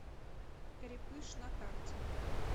крепыш на карте